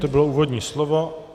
To bylo úvodní slovo.